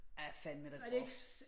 Fandme da groft